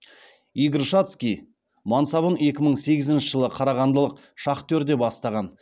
игорь шацкий мансабын екі мың сегізінші жылы қарағандылық шахтерде бастаған